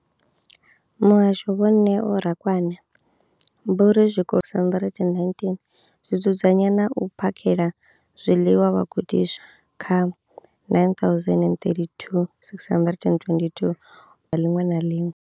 Muhasho, Vho Neo Rakwena, vho ri zwikolo zwa 20 619 zwi dzudzanya na u phakhela zwiḽiwa vhagudiswa kha 9 032 622 ḓuvha ḽiṅwe na ḽiṅwe.